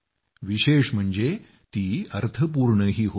विशेष म्हणजे ती अर्थपूर्णही होती